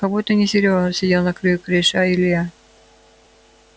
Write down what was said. как будто это не серёга сидел на краю крыши а илья